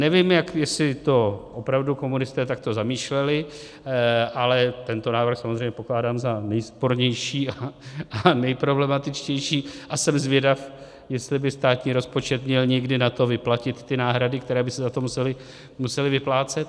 Nevím, jestli to opravdu komunisté takto zamýšleli, ale tento návrh samozřejmě pokládám za nejspornější a nejproblematičtější a jsem zvědav, jestli by státní rozpočet měl někdy na to vyplatit ty náhrady, které by se za to musely vyplácet.